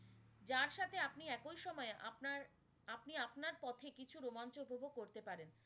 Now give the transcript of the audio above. যার সাথে আপনি একই সময় আপনার, আপনি আপনার পথে কিছু রোমাঞ্চ উপভোগ করতে পারেন।